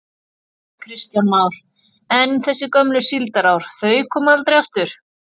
Kristján Már: En þessi gömlu síldarár, þau koma aldrei aftur?